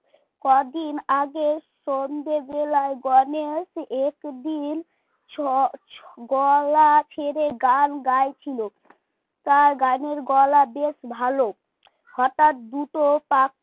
কদিন আগে সন্ধ্যেবেলায় গণেশ একদিন ছ গলা ছেড়ে গান গাইছিল তার গানের গলা বেশ ভালো হঠাৎ দুটো পা